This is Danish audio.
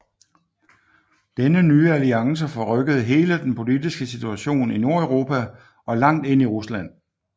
Denne nye alliance forrykkede hele den politiske situation i Nordeuropa og langt ind i Rusland